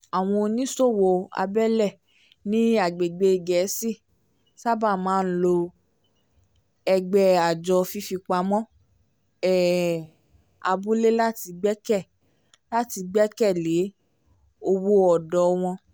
àwọn oníṣòwò abẹ́lé ní agbègbè gẹ̀ẹ́si sábà máa ń lo ẹgbẹ́ àjọ fífipamọ́ um abúlé láti gbẹ̀kẹ̀ láti gbẹ̀kẹ̀ lé owó ọ̀dọ́ wọ́n